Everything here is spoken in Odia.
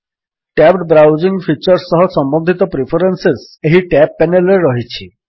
ଟ୍ୟାବ୍ଡ ବ୍ରାଉଜିଙ୍ଗ୍ ଫିଚର୍ ସହ ସମ୍ୱନ୍ଧିତ ପ୍ରିଫରେନ୍ସେସ୍ ଏହି ଟ୍ୟାବ୍ସ ପେନେଲ୍ ରେ ରହିଛି